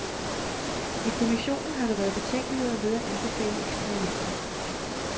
I kommissionen har der været betænkeligheder ved at anbefale eksperimenter.